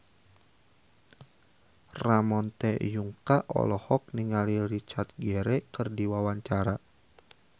Ramon T. Yungka olohok ningali Richard Gere keur diwawancara